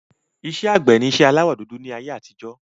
Iṣẹ́ àgbẹ̀ ni iṣẹ́ aláwọ dúdú ni ayé àtijọ́